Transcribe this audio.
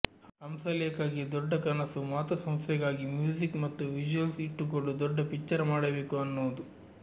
ಹಂಸಲೇಖಗೆ ದೊಡ್ಡ ಕನಸು ಮಾತೃಸಂಸ್ಥೆಗಾಗಿ ಮ್ಯೂಸಿಕ್ ಮತ್ತು ವಿಷ್ಯುಯಲ್ಸ್ ಇಟ್ಟುಕೊಂಡು ದೊಡ್ಡ ಪಿಕ್ಚರ್ ಮಾಡಬೇಕು ಅನ್ನೋದು